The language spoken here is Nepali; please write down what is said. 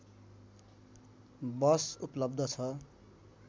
बस उपलब्ध छ